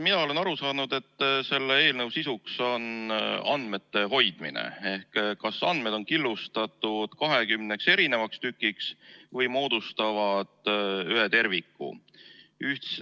Mina olen aru saanud, et selle eelnõu sisuks on andmete hoidmine ehk see, kas andmed on killustatud 20 erinevaks tükiks või moodustavad ühe terviku.